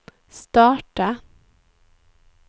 starta